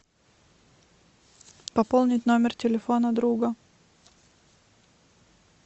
пополнить номер телефона друга